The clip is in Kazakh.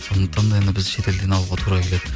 сондықтан да енді біз шетелден алуға тура келеді